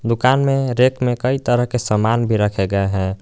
दुकान में रैक मे कई तरह के समान भी रखे गए है।